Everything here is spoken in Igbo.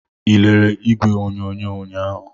Ị lere igwe onyonyo ụnyahụ?